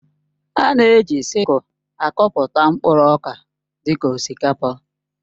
A na-eji sịkul akọpụta mkpụrụ ọka dị ka osikapa